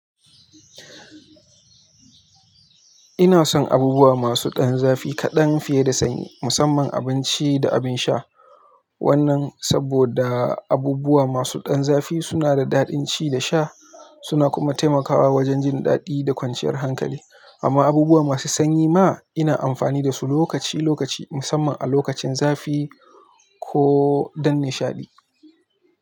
Ina son abubuwa masu ɗan zafi kaɗan fiye da sanyi, musamman abinci da abin sha. Wannan saboda abubuwa masu ɗan zafi suna da daɗin ci da sha, suna kuma taimakawa wajen jin daɗi da kwanciyar hankali. Amma abubuwa masu sanyi ma ina amfani da su lokaci-lokaci, musamman a lokacin zafi ko don nishaɗi.